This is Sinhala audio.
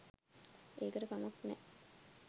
ඒකට කමක් නෑ